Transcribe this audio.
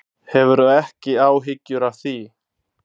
Hefur þú ekki áhyggjur af því?